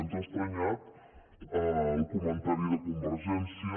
ens ha estranyat el comentari de convergència